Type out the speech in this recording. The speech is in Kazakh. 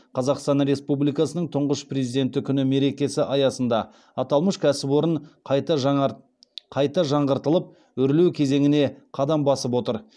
қазақстан республикасының тұңғыш президенті күні мерекесі аясында аталмыш кәсіпорын қайта жаңғыртылып өрлеу кезеңіне қадам басып отыр